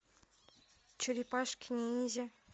черепашки ниндзя